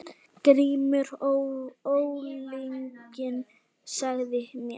GRÍMUR: Ólyginn sagði mér.